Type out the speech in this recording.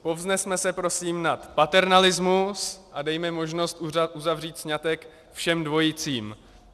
Povznesme se prosím nad paternalismus a dejme možnost uzavřít sňatek všem dvojicím.